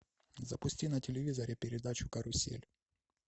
запусти на телевизоре передачу карусель